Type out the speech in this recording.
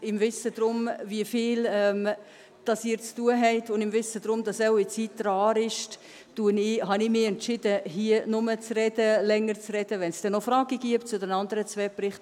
Im Wissen darum, wie viel Sie zu tun haben, und im Wissen darum, dass Ihre Zeit rar ist, habe ich mich entschieden, hier nur länger zu sprechen, wenn es denn noch Fragen gäbe zu den anderen zwei Berichten.